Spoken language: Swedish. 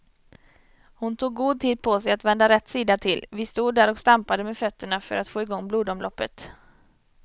Hon tog god tid på sig att vända rätt sida till, vi stod där och stampade med fötterna för att få igång blodomloppet.